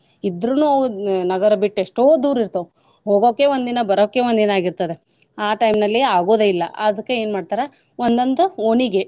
ಇದ್ರುನೂ ನಗರ ಬಿಟ್ಟು ಎಷ್ಟೋ ದೂರ್ ಇರ್ತಾವ್ ಹೋಗಾಕೆ ಒಂದಿನಾ ಬರೋಕೆ ಒಂದಿನಾ ಆಗೀರ್ತದ ಆ time ನಲ್ಲಿ ಆಗುದೆ ಇಲ್ಲಾ ಅದ್ಕೆ ಏನ್ ಮಾಡ್ತಾರಾ ಒಂದೊಂದ್ ಓಣಿಗೆ.